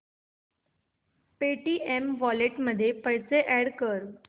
Paytm wallet मध्ये पैसे add कर